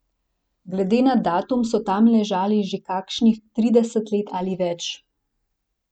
Glede na datum so tam ležali že kakšnih trideset let ali več.